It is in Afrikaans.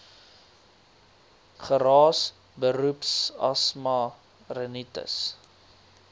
geraas beroepsasma rinitis